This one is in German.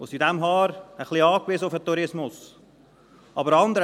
Daher sind wir auf den Tourismus ein wenig angewiesen.